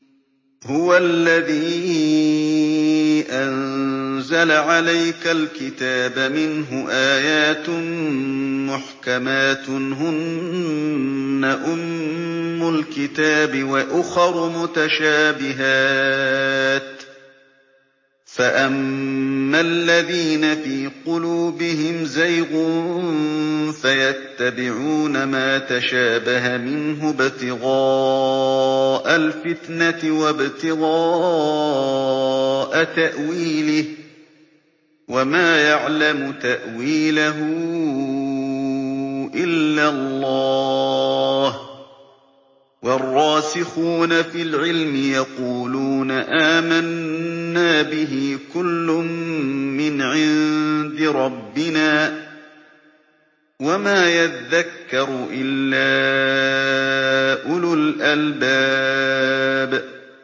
هُوَ الَّذِي أَنزَلَ عَلَيْكَ الْكِتَابَ مِنْهُ آيَاتٌ مُّحْكَمَاتٌ هُنَّ أُمُّ الْكِتَابِ وَأُخَرُ مُتَشَابِهَاتٌ ۖ فَأَمَّا الَّذِينَ فِي قُلُوبِهِمْ زَيْغٌ فَيَتَّبِعُونَ مَا تَشَابَهَ مِنْهُ ابْتِغَاءَ الْفِتْنَةِ وَابْتِغَاءَ تَأْوِيلِهِ ۗ وَمَا يَعْلَمُ تَأْوِيلَهُ إِلَّا اللَّهُ ۗ وَالرَّاسِخُونَ فِي الْعِلْمِ يَقُولُونَ آمَنَّا بِهِ كُلٌّ مِّنْ عِندِ رَبِّنَا ۗ وَمَا يَذَّكَّرُ إِلَّا أُولُو الْأَلْبَابِ